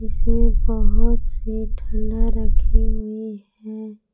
इसमें बहुत सी ठंडा रखी हुई हैं।